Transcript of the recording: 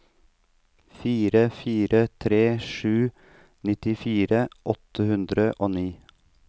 fire fire tre sju nittifire åtte hundre og ni